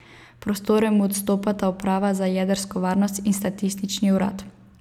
Prostore mu odstopata uprava za jedrsko varnost in Statistični urad.